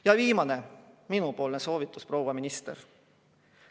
Ja viimane minupoolne soovitus, proua minister.